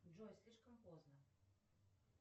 джой слишком поздно